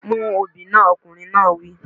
Mú obì náà! Ọkùnrin náà wí.